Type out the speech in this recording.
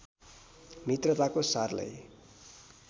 मित्रताको सारलाई